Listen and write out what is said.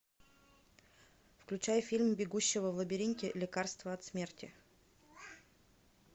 включай фильм бегущего в лабиринте лекарство от смерти